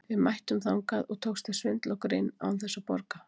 Við mættum þangað og tókst að svindla okkur inn án þess að borga.